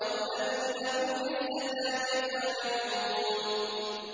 وَالَّذِينَ هُمْ لِلزَّكَاةِ فَاعِلُونَ